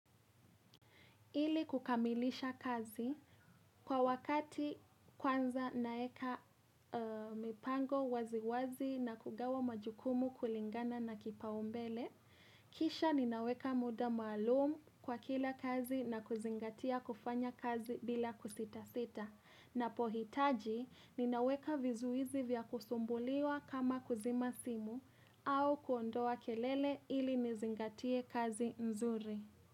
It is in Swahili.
Ili kukamilisha kazi, kwa wakati kwanza naeka mipango waziwazi na kugawa majukumu kulingana na kipaumbele. Kisha ninaweka muda maalumu kwa kila kazi na kuzingatia kufanya kazi bila kusita sita. Na pohitaji ninaweka vizuizi vya kusumbuliwa kama kuzima simu au kuondoa kelele ili nizingatie kazi nzuri.